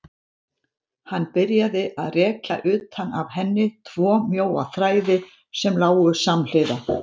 Hann byrjaði að rekja utan af henni tvo mjóa þræði sem lágu samhliða.